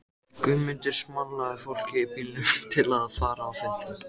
Guðmundur smalaði fólki í bílinn til að fara á fundinn.